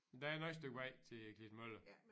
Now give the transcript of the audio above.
Men der er nu et stykke vej til Klitmøller